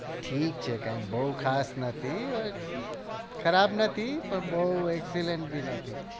ઠીક છે કઈ બઉ ખાસ નથી ખરાબ નથી પણ બઉં એક excellent ભી નથી